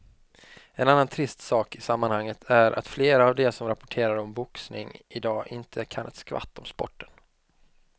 En annan trist sak i sammanhanget är att flera av de som rapporterar om boxning i dag inte kan ett skvatt om sporten.